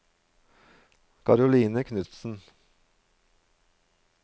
Karoline Knutsen